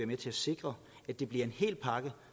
med til at sikre at det bliver en hel pakke